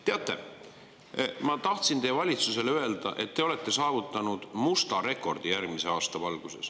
Teate, ma tahtsin teie valitsusele öelda, et te olete järgmise aasta valguses saavutanud musta rekordi.